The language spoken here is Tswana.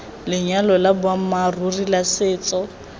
lenyalo la boammaaruri la setso